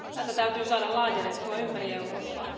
Tätä täytyy saada laajennettua ympäri Eurooppaa.